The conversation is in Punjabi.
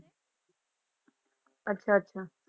ਅੱਛਾ ਅੱਛਾ।